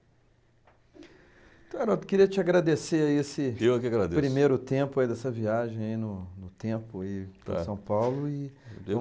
Então, Haroldo, queria te agradecer aí esse... Eu que agradeço. ...primeiro tempo aí dessa viagem aí no no tempo e para São Paulo e... Eu dei um